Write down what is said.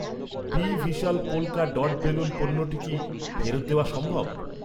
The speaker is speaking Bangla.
B Vishal polka dot balloon পণ্যটি কি ফেরত দেওয়া সম্ভব?